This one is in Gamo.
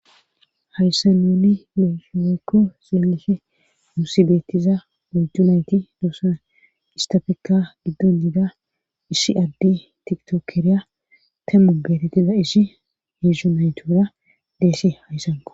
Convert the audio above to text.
hayssa nuni musuweykko seelife nuusidettiza ojju nayti doosan istafeka giddon yiida ishi adde tiktokeriya tammu beetettiza ishi heedzhu naytura deesi hayssanqo